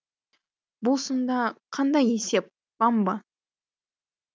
бұл сонда қандай есеп вамба